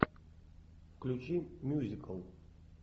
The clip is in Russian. включи мюзикл